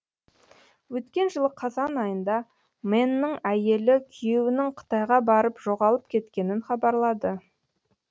өткен жылы қазан айында мэннің әйелі күйеуінің қытайға барып жоғалып кеткенін хабарлады